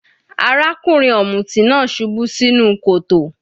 Arákùnrin ọ̀mùtí náà subú sínú kòtò.